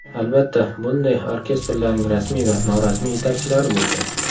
Albatta, bunday orkestrlarning rasmiy va norasmiy yetakchilari bo‘lgan.